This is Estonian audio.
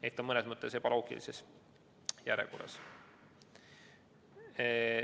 See on mõnes mõttes ebaloogiline järjekord.